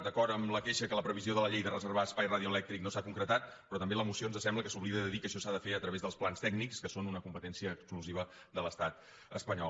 d’acord amb la queixa que la previsió de la llei de reservar espai radioelèctric no s’ha concretat però també la moció ens sembla que s’oblida de dir que això s’ha de fer a través dels plans tècnics que són una competència exclusiva de l’estat espanyol